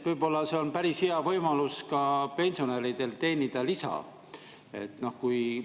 Võib-olla on see päris hea võimalus ka pensionäridele, et lisa teenida.